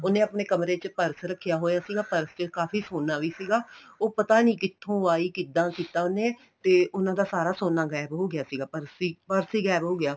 ਉਹਨੇ ਆਪਣੇ ਕਮਰੇ ਚ purse ਰੱਖਿਆ ਹੋਇਆ ਸੀਗਾ purse ਚ ਕਾਫ਼ੀ ਸੋਨਾ ਵੀ ਸੀਗਾ ਉਹ ਪਤਾ ਨਹੀਂ ਕਿੱਥੋ ਆਈ ਕਿੱਦਾਂ ਕੀਤਾ ਉਹਨੇ ਤੇ ਉਹਨਾ ਦਾ ਸਾਰਾ ਸੋਨਾ ਗਾਇਬ ਹੋ ਗਿਆ ਸੀਗਾ purse ਹੀ purse ਹੀ ਗਾਇਬ ਹੋ ਗਿਆ